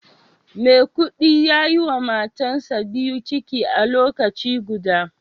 maikudi yayiwa matansa biyu ciki a lokaci guda